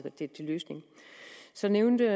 en løsning så nævnte